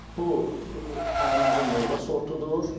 Bu ənənəvi meyvə sortudur.